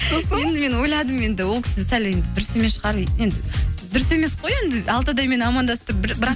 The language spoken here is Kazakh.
сосын енді мен ойладым енді ол кісі сәл енді дұрыс емес шығар енді дұрыс емес қой енді алты адаммен амандасып тұр бірақ